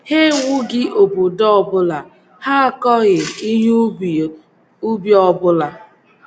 Ha ewughị obodo ọ bụla; ha akọghị ihe ubi ọ ubi ọ bụla.